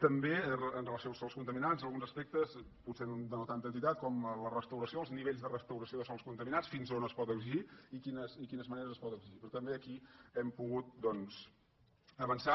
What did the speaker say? també amb relació als sòls contaminats alguns aspectes potser de no tanta entitat com la restauració els nivells de restauració de sòls contaminats fins on es pot exigir i quines maneres es poden exigir però també aquí hem pogut doncs avançar